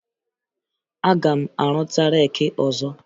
Aga m arụta reeki ọzọ